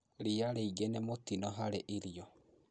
Riia rĩngï nĩ mũtino hari irio